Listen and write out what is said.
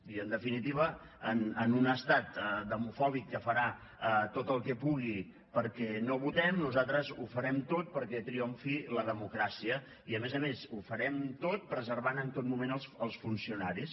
i en definitiva en un estat demofòbic que farà tot el que pugui perquè no votem nosaltres ho farem tot perquè triomfi la democràcia i a més a més ho farem tot preservant en tot moment els funcionaris